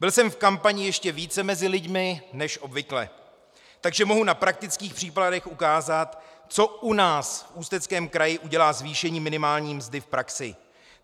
Byl jsem v kampani ještě více mezi lidmi než obvykle, takže mohu na praktických příkladech ukázat, co u nás v Ústeckém kraji udělá zvýšení minimální mzdy v praxi.